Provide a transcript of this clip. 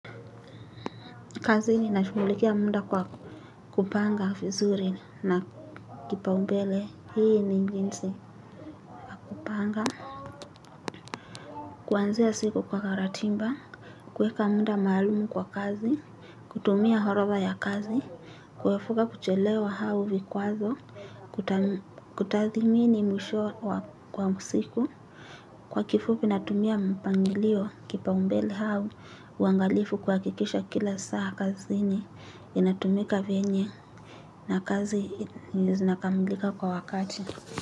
Kazini na shughulikia munda kwa kupanga vizuri na kipaumbele hii ni jinsi ya kupanga kuanzia siku kwa karatimba, kuweka munda maalumu kwa kazi, kutumia horova ya kazi, kuwefuka kuchelewa hau vikwazo, kutathimini mwisho kwa musiku. Kwa kifupi natumia mpangilio kipaumbele hau, uangalifu kuhakikisha kila saa kazini, inatumika venye na kazi zinakamilika kwa wakati.